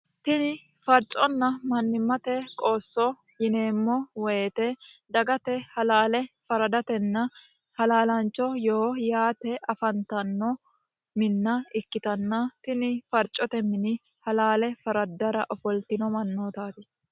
tini farconna mannimmate qoosso yineemmo woyite dagate halaale faradatenna halaalaancho yoo yaate afantanno minna ikkitanna tini farcote mini halaale faraddara ofoltino mannootaati